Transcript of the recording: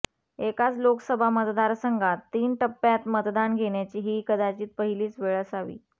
एकाच लोकसभा मतदारसंघात तीन टप्प्यांत मतदान घेण्याची ही कदाचित पहिलीच वेळ असावी